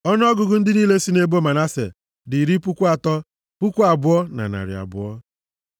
Ọnụọgụgụ ndị niile sị nʼebo Manase dị iri puku atọ, puku abụọ na narị abụọ (32,200).